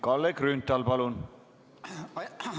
Kalle Grünthal, palun!